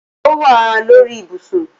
Ọ wà lórí ìbùṣún